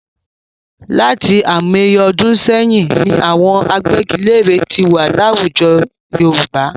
Láti àìmọye ọdún sẹ́yìn ni àwọn agbẹ́giléèrè tí wà láwùjọ Yorùbá.